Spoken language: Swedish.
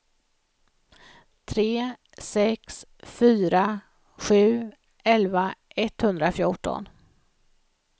tre sex fyra sju elva etthundrafjorton